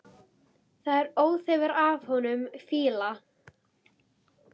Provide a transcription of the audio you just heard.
Það er óþefur af honum fýla!